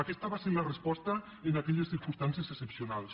aquesta va ser la resposta en aquelles circumstàncies excepcionals